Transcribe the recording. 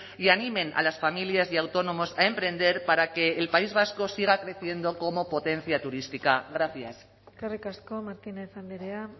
y animen a las familias y a autónomos a emprender para que el país vasco siga creciendo como potencia turística gracias eskerrik asko martínez andrea